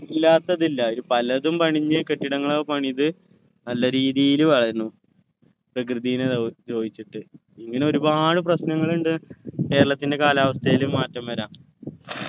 ഇല്ലാത്തതില്ല അയ്ൽ പലതും പണിഞ്ഞ് കെട്ടിടങ്ങളൊക്കെ പണിത് നല്ലരീതിയിൽ വാഴുന്നു പ്രകൃതിന ദ്ര ദ്രോഹിച്ചിട്ട് ഇങ്ങനെ ഒരുപാട് പ്രശ്‌നങ്ങളുണ്ട് കേരളത്തിൻ്റെ കാലാവസ്ഥയിൽ മാറ്റം വരാ